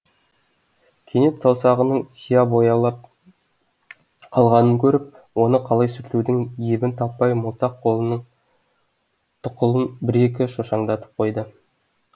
кенет саусағының сияға боялып қалғанын көріп оны қалай сүртудің ебін таппай молтақ қолының тұқылын бір екі шошаңдатып қойды